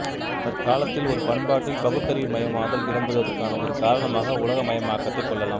தற்காலத்தில் ஒரு பண்பாட்டில் பகுத்தறிவுமயமாதல் இடம்பெறுவதற்கான ஒரு காரணமாக உலகமயமாக்கத்தைக் கொள்ளலாம்